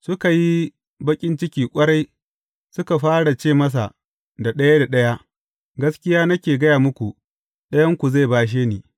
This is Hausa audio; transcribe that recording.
Suka yi baƙin ciki ƙwarai, suka fara ce masa da ɗaya ɗaya, Gaskiya nake gaya muku, ɗayanku zai bashe ni.